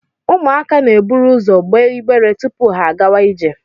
Ụmụaka na-eburu ụzọ gbee igbere tupu ha agawa ije